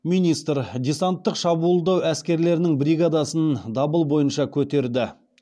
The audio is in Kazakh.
министр десанттық шабуылдау әскерлерінің бригадасын дабыл бойынша көтерді